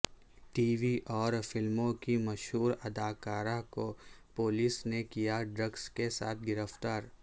T V اور فلموں کی مشہور اداکارہ کو پولیس نے کیا ڈرگس کے ساتھ گرفتار